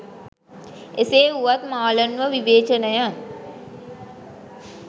එසේ වුවත් මාලන්ව විවේචනය